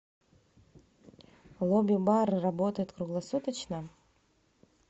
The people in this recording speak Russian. лобби бар работает круглосуточно